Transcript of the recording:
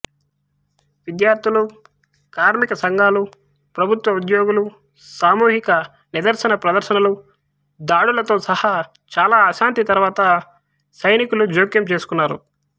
విద్యార్ధులు కార్మిక సంఘాలు ప్రభుత్వోద్యోగులు సామూహిక నిదర్శన ప్రదర్శనలు దాడులతో సహా చాలా అశాంతి తరువాత సైనికు జోక్యం చేసుకున్నారు